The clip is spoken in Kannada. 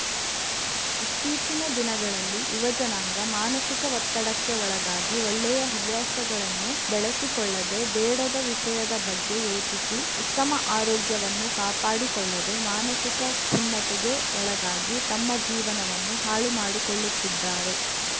ಇತ್ತೀಚಿನ ದಿನಗಳಲ್ಲಿ ಯುವಜನಾಂಗ ಮಾನಸಿಕ ಒತ್ತಡಕ್ಕೆ ಒಳಗಾಗಿ ಒಳ್ಳೆಯ ಹವ್ಯಾಸಗಳನ್ನು ಬೆಳೆಸಿಕೊಳ್ಳದೆ ಬೇಡದ ವಿಷಯದ ಬಗ್ಗೆ ಯೋಚಿಸಿ ಉತ್ತಮ ಆರೋಗ್ಯವನ್ನು ಕಾಪಾಡಿಕೊಳ್ಳದೆ ಮಾನಸಿಕ ಖಿನ್ನತೆಗೆ ಒಳಗಾಗಿ ತಮ್ಮ ಜೀವನವನ್ನು ಹಾಳು ಮಾಡುಕೊಳ್ಳುತ್ತಿದ್ದಾರೆ